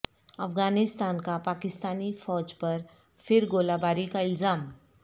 افغانستان کا پاکستانی فوج پر پھر گولہ باری کا الزام